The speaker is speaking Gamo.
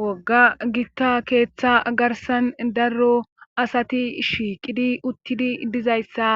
wogga gita keetha garsssan darro asati shiiqidi uttidi dizayssa